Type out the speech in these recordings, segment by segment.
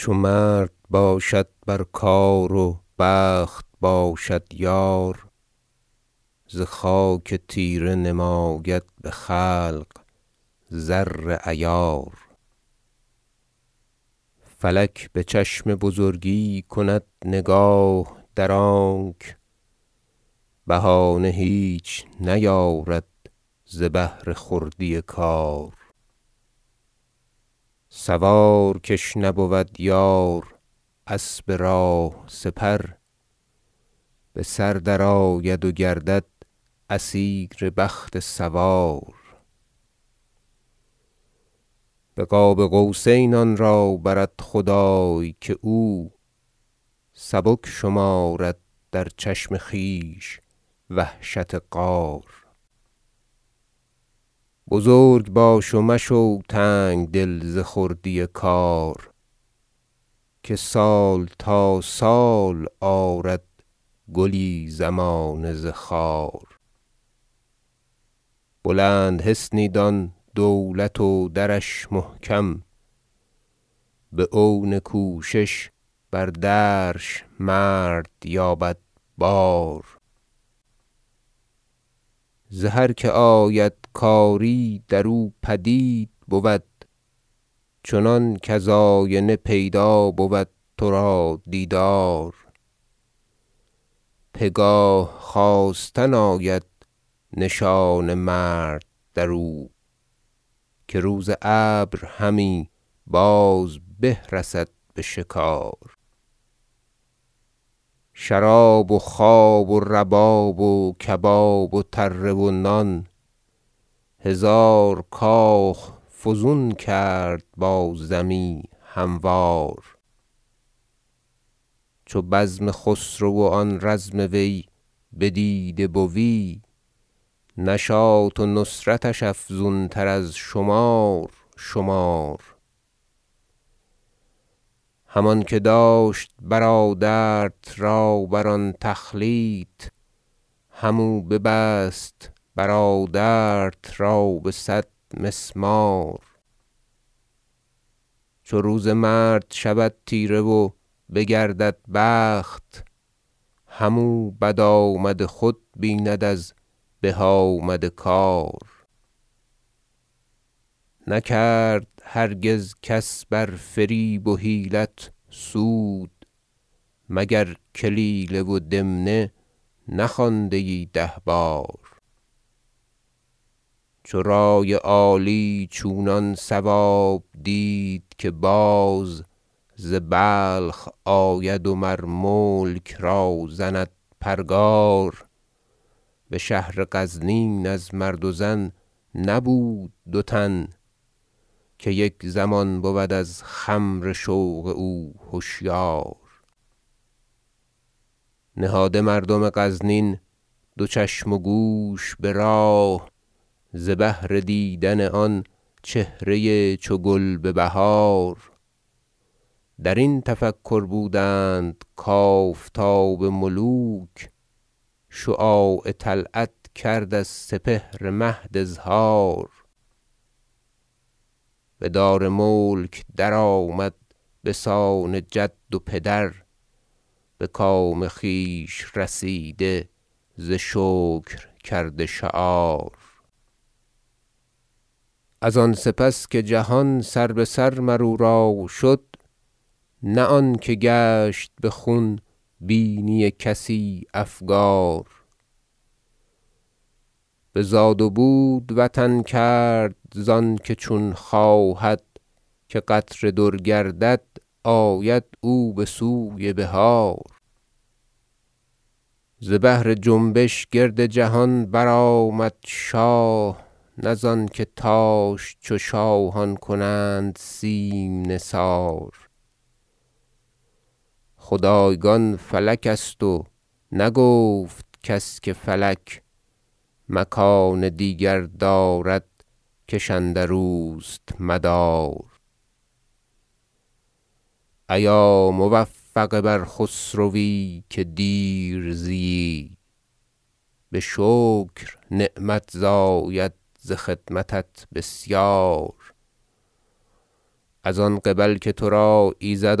چو مرد باشد بر کار و بخت باشد یار ز خاک تیره نماید به خلق زر عیار فلک به چشم بزرگی کند نگاه در آنک بهانه هیچ نیارد ز بهر خردی کار سوار کش نبود یار اسب راه سپر بسر درآید و گردد اسیر بخت سوار به قاب قوسین آن را برد خدای که او سبک شمارد در چشم خویش وحشت غار بزرگ باش و مشو تنگدل ز خردی کار که سال تا سال آرد گلی زمانه ز خار بلند حصنی دان دولت و درش محکم به عون کوشش بر درش مرد یابد بار ز هر که آید کاری درو پدید بود چنان کز آینه پیدا بود ترا دیدار پگاه خاستن آید نشان مرد درو که روز ابرهمی باز به رسد به شکار شراب و خواب و رباب و کباب و تره و نان هزار کاخ فزون کرد با زمی هموار چو بزم خسرو و آن رزم وی بدیده بوی نشاط و نصرتش افزون تر از شمار شمار همانکه داشت برادرت را بر آن تخلیط همو ببست برادرت را به صد مسمار چو روز مرد شود تیره و بگردد بخت همو بد آمد خود بیند از به آمد کار نکرد هرگز کس بر فریب و حیلت سود مگر کلیله و دمنه نخوانده ای ده بار چو رأی عالی چونان صواب دید که باز ز بلخ آید و مر ملک را زند پرگار بشهر غزنین از مرد و زن نبود دو تن که یک زمان بود از خمر شوق او هشیار نهاده مردم غزنین دو چشم و گوش براه ز بهر دیدن آن چهره چو گل ببهار درین تفکر بودند کافتاب ملوک شعاع طلعت کرد از سپهر مهد اظهار بدار ملک درآمد بسان جد و پدر بکام خویش رسیده ز شکر کرده شعار از آن سپس که جهان سر بسر مر او را شد نه آنکه گشت بخون بینی کسی افگار بزاد و بود وطن کرد ز انکه چون خواهد که قطره در گردد آید او بسوی بحار ز بهر جنبش گرد جهان برآمد شاه نه ز آنکه تاش چو شاهان کنند سیم نثار خدایگان فلک است و نگفت کس که فلک مکان دیگر دارد کش اندروست مدار ایا موفق بر خسروی که دیر زییی بشکر نعمت زاید ز خدمتت بسیار از آن قبل که ترا ایزد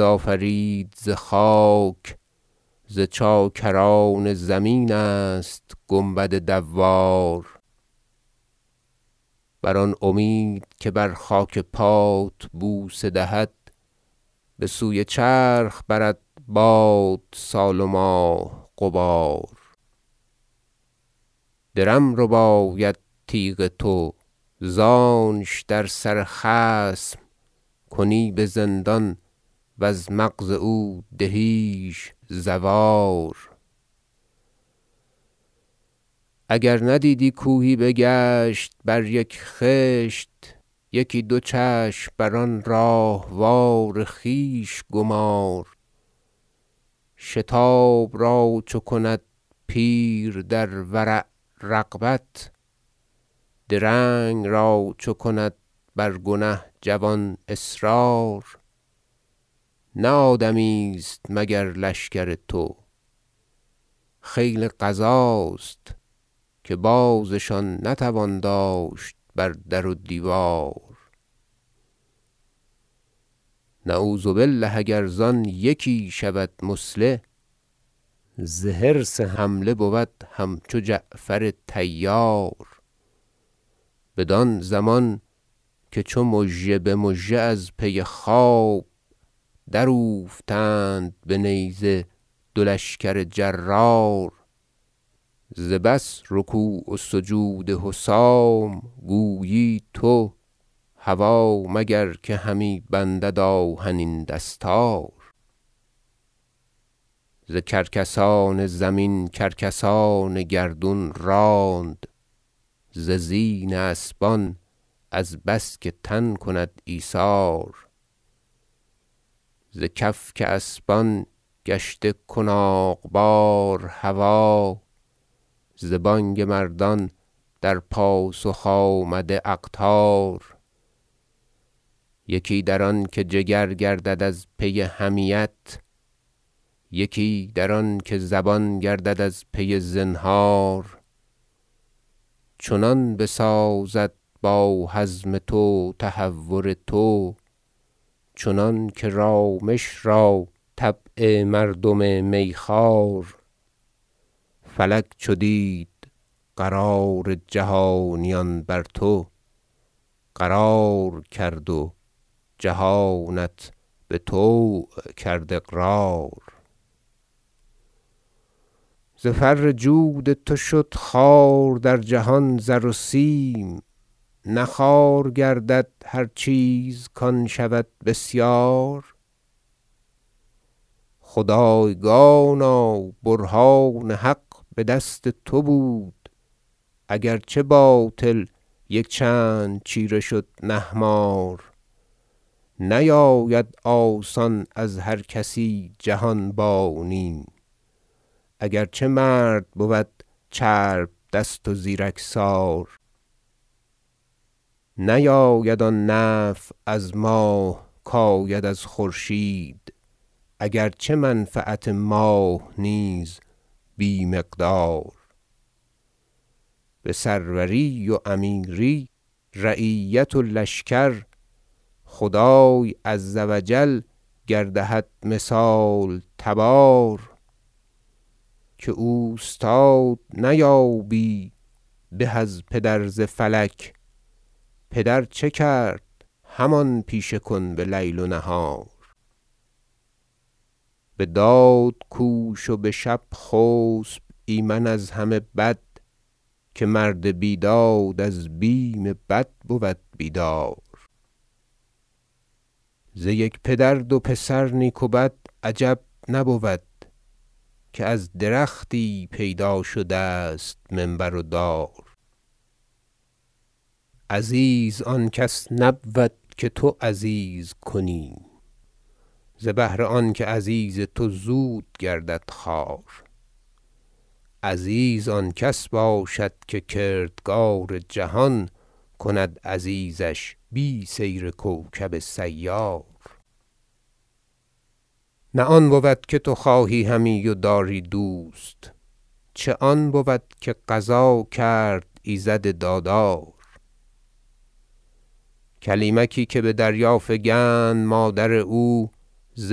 آفرید بخاک ز چاکران زمین است گنبد دوار بر آن امید که بر خاک پات بوسه دهد بسوی چرخ برد باد سال و ماه غبار درم رباید تیغ تو زانش در سر خصم کنی بزندان وز مغز او دهیش زوار اگر ندیدی کوهی بگشت بر یک خشت یکی دو چشم بر آن راهوار خویش گمار شتاب را چو کند پیر در ورع رغبت درنگ را چو کند بر گنه جوان اصرار نه آدمی است مگر لشکر تو خیل قضاست که بازشان نتوان داشت بر در و دیوار نعوذ بالله اگر زان یکی شود مثله ز حرص حمله بود همچو جعفر طیار بدان زمان که چو مژه بمژه از پی خواب در اوفتند به نیزه دو لشکر جرار ز بس رکوع و سجود حسام گویی تو هوا مگر که همی بندد آهنین دستار ز کرکسان زمین کرکسان گردون راند ز زین اسبان از بس که تن کند ایثار ز کفک اسبان گشته کناغ بار هوا ز بانگ مردان در پاسخ آمده اقطار یکی در آنکه جگر گردد از پی حمیت یکی در آنکه زبان گردد از پی زنهار چنان بسازد با حزم تو تهور تو چنانکه رامش را طبع مردم می خوار فلک چو دید قرار جهانیان بر تو قرار کرد و جهانت بطوع کرد اقرار ز فر جود تو شد خوار در جهان زر و سیم نه خوار گردد هر چیز کان شود بسیار خدایگانا برهان حق بدست تو بود اگر چه باطل یک چند چیره شد نهمار نیاید آسان از هر کسی جهانبانی اگر چه مرد بود چرب دست و زیرک سار نیاید آن نفع از ماه کاید از خورشید اگر چه منفعت ماه نیز بی مقدار بسروری و امیری رعیت و لشکر خدای عز و جل گر دهد مثال تبار که اوستاد نیابی به از پدر ز فلک پدر چه کرد همان پیشه کن بلیل و نهار بداد کوش و بشب خسب ایمن از همه بد که مرد بیداد از بیم بد بود بیدار ز یک پدر دو پسر نیک و بد عجب نبود که از درختی پیدا شده است منبر و دار عزیز آن کس نبود که تو عزیز کنی ز بهر آنکه عزیز تو زود گردد خوار عزیز آن کس باشد که کردگار جهان کند عزیزش بی سیر کوکب سیار نه آن بود که تو خواهی همی و داری دوست چه آن بود که قضا کرد ایزد دادار کلیمکی که بدریا فکند مادر او ز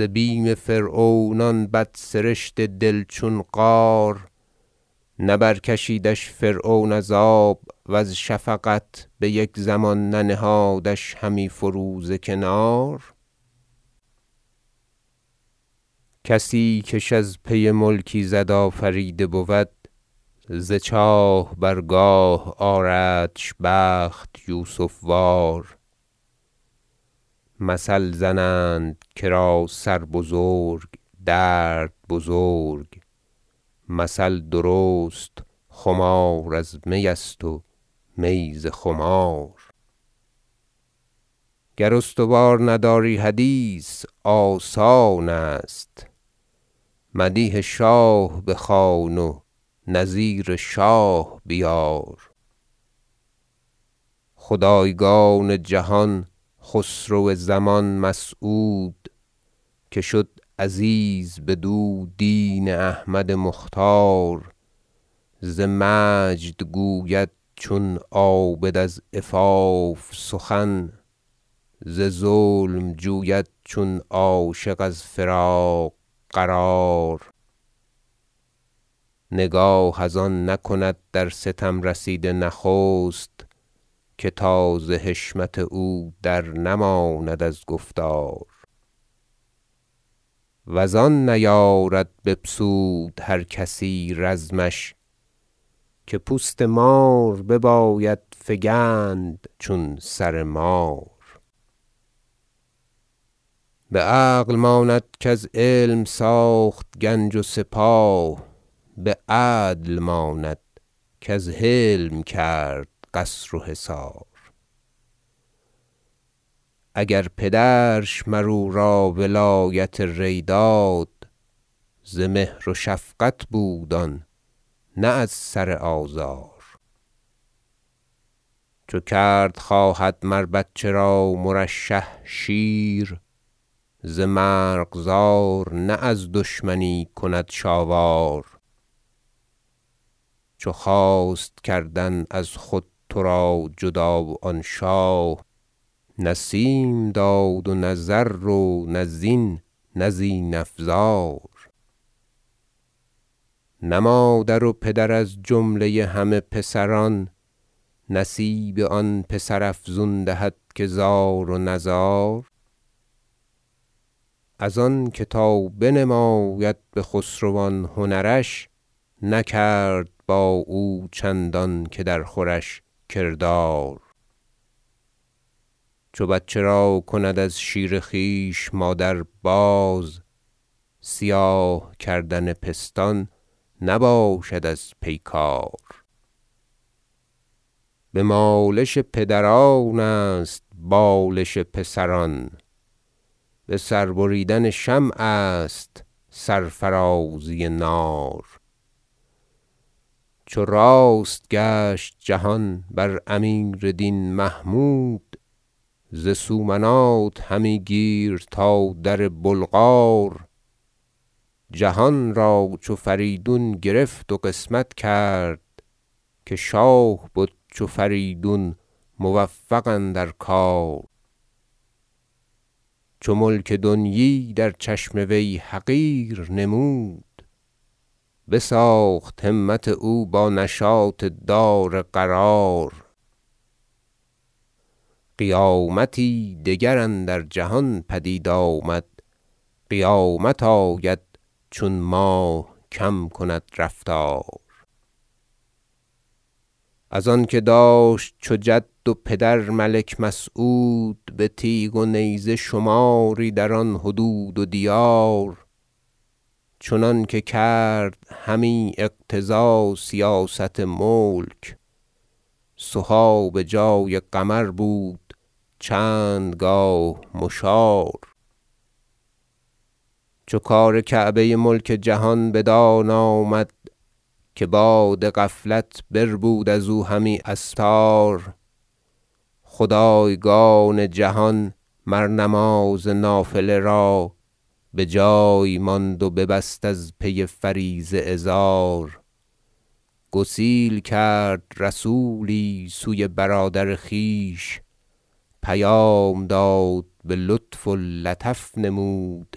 بیم فرعون آن بد سرشت دل چون قار نه برکشیدش فرعون از آب و ز شفقت بیک زمان ننهادش همی فرو ز کنار کسی کش از پی ملک ایزد آفریده بود ز چاه بر گاه آردش بخت یوسف وار مثل زنند کرا سر بزرگ درد بزرگ مثل درست خمار از می است و می ز خمار گر استوار نداری حدیث آسان است مدیح شاه بخوان و نظیر شاه بیار خدایگان جهان خسرو جهان مسعود که شد عزیز بدو دین احمد مختار ز مجد گوید چون عابد از عفاف سخن ز ظلم جوید چون عاشق از فراق قرار نگاه از آن نکند در ستم رسیده نخست که تا ز حشمت او درنماند از گفتار و زان نیارد بپسود هر کسی رزمش که پوست مار بباید فگند چون سر مار بعقل ماند کز علم ساخت گنج و سپاه بعدل ماند کز حلم کرد قصر و حصار اگر پدرش مر او را ولایت ری داد ز مهر و شفقت بود آن نه از سر آزار چو کرد خواهد مر بچه را مرشح شیر ز مرغزار نه از دشمنی کندش آوار چو خواست کردن از خود ترا جدا آن شاه نه سیم داد و نه زر و نه زین نه زین افزار نه مادر و پدر از جمله همه پسران نصیب آن پسر افزون دهد که زار و نزار از آنکه تا بنماید بخسروان هنرش نکرد با او چندانکه در خورش کردار چو بچه را کند از شیر خویش مادر باز سیاه کردن پستان نباشد از پیکار بمالش پدران است بالش پسران بسر بریدن شمع است سرفرازی نار چو راست گشت جهان بر امیر دین محمود ز سومنات همی گیر تا در بلغار جهان را چو فریدون گرفت و قسمت کرد که شاه بد چو فریدون موفق اندر کار چو ملک دنیی در چشم وی حقیر نمود بساخت همت او با نشاط دار قرار قیامتی دگر اندر جهان پدید آمد قیامت آید چون ماه کم کند رفتار از آنکه داشت چو جد و پدر ملک مسعود به تیغ و نیزه شماری در آن حدود و دیار چنانکه کرد همی اقتضا سیاست ملک سها بجای قمر بود چند گاه مشار چو کار کعبه ملک جهان بدان آمد که باد غفلت بربود ازو همی استار خدایگان جهان مر نماز نافله را بجای ماند و ببست از پی فریضه ازار گسیل کرد رسولی سوی برادر خویش پیام داد بلطف و لطف نمود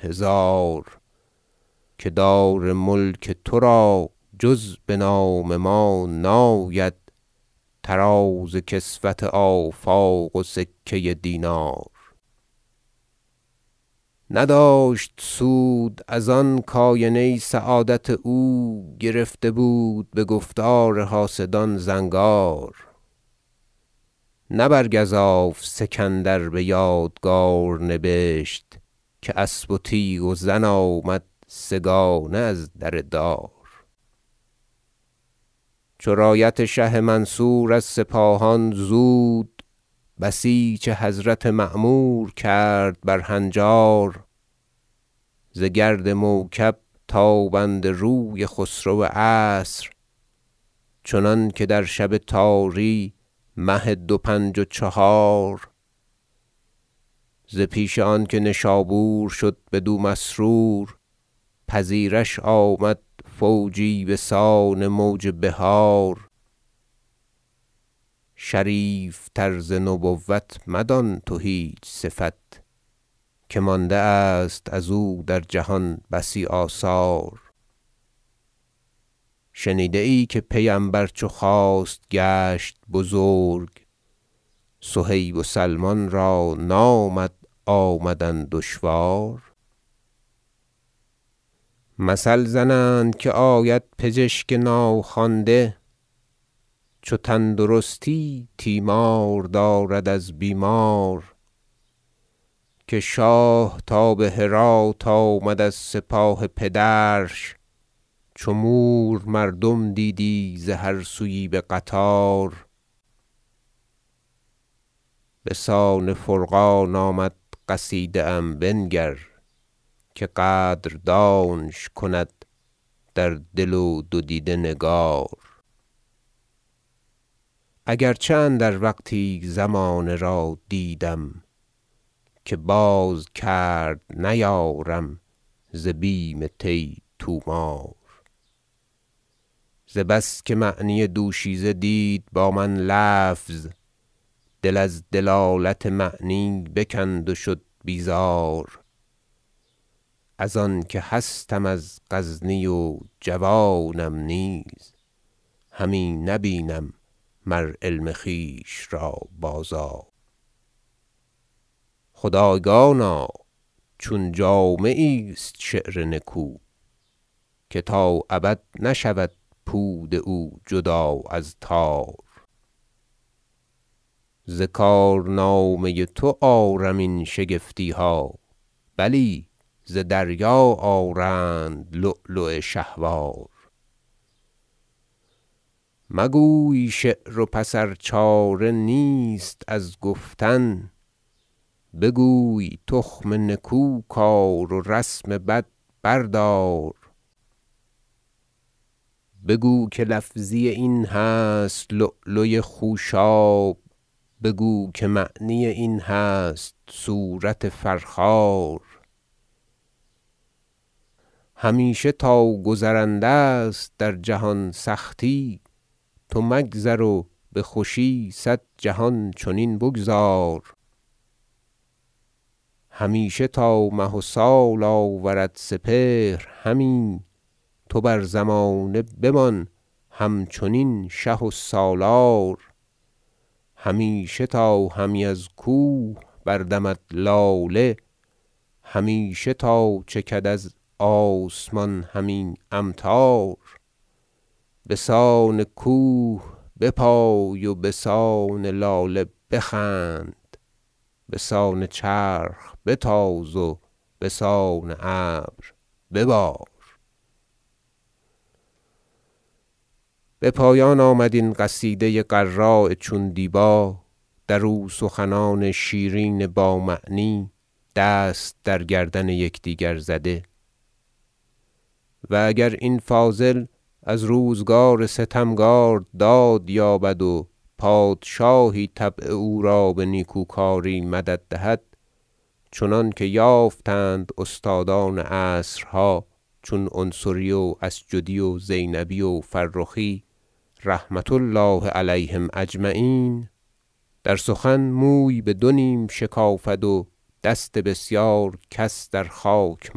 هزار که دار ملک ترا جز بنام ما ناید طراز کسوت آفاق و سکه دینار نداشت سود از آن کاینه سعادت او گرفته بود بگفتار حاسدان زنگار نه بر گزاف سکندر بیادگار نبشت که اسب و تیغ و زن آمد سه گانه ازدر دار چو رایت شه منصور از سپاهان زود بسیچ حضرت معمور کرد بر هنجار ز گرد موکب تابنده روی خسرو عصر چنانکه در شب تاری مه دو پنج و چهار ز پیش آنکه نشابور شد بدو مسرور پذیردش آمد فوجی بسان موج بحار شریف تر ز نبوت مدان تو هیچ صفت که مانده است ازو در جهان بسی آثار شنیده ای که پیمبر چو خواست گشت بزرگ صهیب و سلمان را نامد آمدن دشوار مثل زنند که آید بچشک ناخوانده چو تندرستی تیمار دارد از بیمار که شاه تا بهرات آمد از سپاه پدرش چو مور مردم دیدی ز هر سویی بقطار بسان فرقان آمد قصیده ام بنگر که قدر دانش کند در دل و دو دیده نگار اگر چه اندر وقتی زمانه را دیدم که باز کرد نیارم ز بیم طی طومار ز بس که معنی دوشیزه دید با من لفظ دل از دلالت معنی بکند و شد بیزار از آنکه هستم از غزنی و جوانم نیز همی نه بینم مر علم خویش را بازار خدایگانا چون جامه ایست شعر نکو که تا ابد نشود پود او جدا از تار ز کار نامه تو آرم این شگفتیها بلی ز دریا آرند لؤلؤ شهوار مگوی شعر و پس ار چاره نیست از گفتن بگوی تخم نکو کار و رسم بد بردار بگو که لفظی این هست لؤلوی خوشاب بگو که معنی این هست صورت فرخار همیشه تا گذرنده است در جهان سختی تو مگذر و بخوشی صد جهان چنین بگذار همیشه تا مه و سال آورد سپهر همی تو بر زمانه بمان همچنین شه و سالار همیشه تا همی از کوه بردمد لاله همیشه تا چکد از آسمان همی امطار بسان کوه بپای و بسان لاله بخند بسان چرخ بتاز و بسان ابر ببار بپایان آمد این قصیده غراء چون دیبا در او سخنان شیرین با معنی دست در گردن یکدیگر زده و اگر این فاضل از روزگار ستمکار داد یابد و پادشاهی طبع او را به نیکوکاری مدد دهد چنانکه یافتند استادان عصرها چون عنصری و عسجدی و زینبی و فرخی رحمة الله علیهم اجمعین در سخن موی بدو نیم شکافد و دست بسیار کس در خاک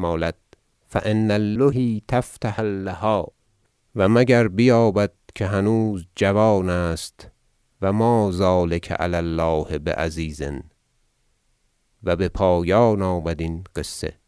مالد فان اللهی تفتح اللها و مگر بیابد که هنوز جوان است و ما ذلک علی الله بعزیز و بپایان آمد این قصه